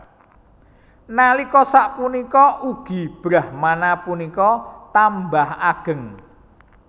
Nalika sapunika ugi Brahmana punika tambah ageng